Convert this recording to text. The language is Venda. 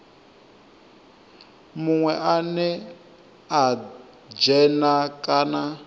munwe ane a dzhena kana